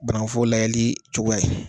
Banakuforo lajɛli cogoya ye.